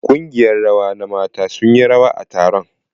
Ƙungiyar rawa na mata sun yi rawa a taron.